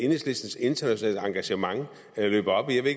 enhedslistens internationale engagement løber op i jeg ved